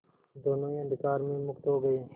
दोेनों ही अंधकार में मुक्त हो गए